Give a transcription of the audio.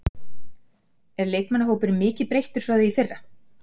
Er leikmannahópurinn mikið breyttur frá því í fyrra?